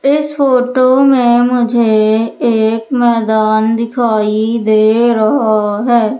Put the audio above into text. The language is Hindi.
इस फोटो में मुझे एक मैदान दिखाई दे रहा है।